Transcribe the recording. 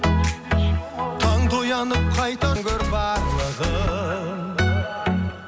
таңда оянып қайта өмір барлығын